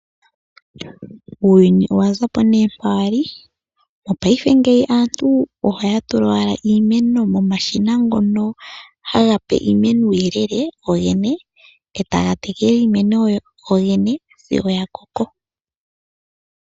Uuyuni owa zapo nee mpa wali. Mopaife ngeyi aantu ohaya tula owala iimeno momashina ngono haga pe iimeno uuyelele gogene etaga tekele iimeno gogene sigo ya koko.